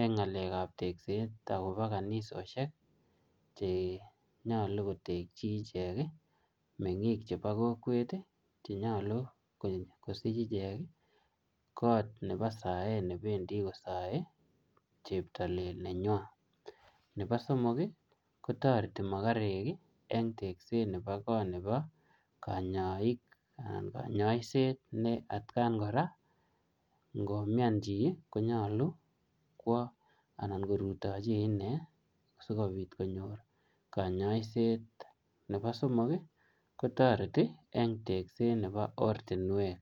eng' ng'alekab tekset akobo kanisoshek chenyolu kotekchi ichek meng'ik chebo kokwet chenyolu kosich ichek kot nebo saet nebendi ichek kosoei cheptoilel nenywai nebo somok kotoreti mokorek eng' tekset nebo kot nebo kanyaishet ne atkan kora ngomyan chi konyolu kwo anan korutochi ine sikobit konyor kanyaishet nebo somok kotoreti eng tekset nebo ortinwek